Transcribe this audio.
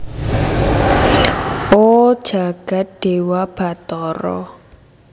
O jagat dewa batara